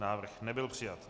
Návrh nebyl přijat.